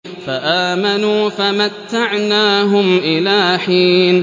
فَآمَنُوا فَمَتَّعْنَاهُمْ إِلَىٰ حِينٍ